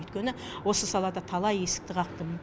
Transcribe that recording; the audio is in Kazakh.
өйткені осы салада талай есікті қақтым